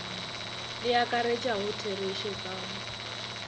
le akaretšago therešo ka ga